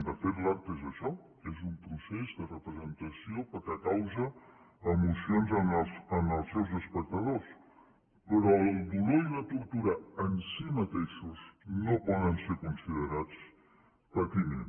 de fet l’art és això és un procés de representació perquè causa emocions en els seus espectadors però el dolor i la tortura en si mateixos no poden ser considerats patiment